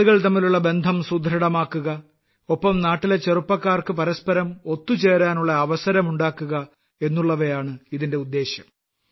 ആളുകൾ തമ്മിലുള്ള ബന്ധം സുദൃഢമാക്കുക നാട്ടിലെ ചെറുപ്പക്കാർക്ക് പരസ്പരം ഒത്തുചേരലിനുള്ള അവസരം ഉണ്ടാക്കുക എന്നുള്ളവയാണ് ഇതിന്റെ ഉദ്ദേശ്യം